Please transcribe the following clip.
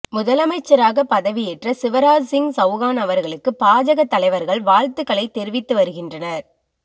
முதலமைச்சராக பதவியேற்ற சிவராஜ்சிங் சவுகான் அவர்களுக்கு பாஜக தலைவர்கள் வாழ்த்துக்களை தெரிவித்து வருகின்றனர்